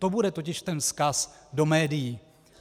To bude totiž ten vzkaz do médií.